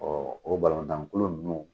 Ɔɔ o balontan kulu nunnu